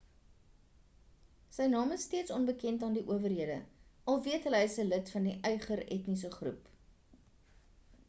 sy naam is steeds onbekend aan die owerhede al weet hulle hy is 'n lid van die uighur etniese groep